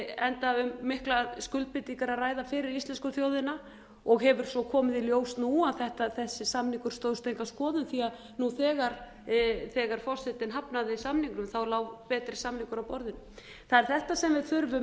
enda um mikla skuldbindingar að ræða fyrir íslensku þjóðin og hefur svo komið í ljós nú að þessi samningur stóðst enga skoðun því nú þegar forsetinn hafnaði samningnum lá betri samningur á borðinu það er þetta sem við þurfum að passa